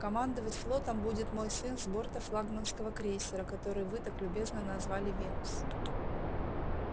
командовать флотом будет мой сын с борта флагманского крейсера который вы так любезно назвали венус